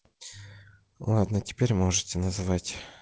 ладно теперь можете называть